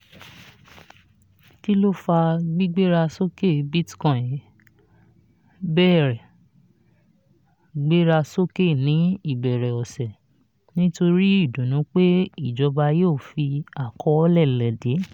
kí ló fà gbígbéra sókè: bitcoin bẹ̀rẹ̀ gbéra sókè ní ìbẹ̀rẹ̀ ọ̀sẹ̀ nítorí ìdùnnú pé ìjọba yíò fi àkọọ́lẹ̀ léde.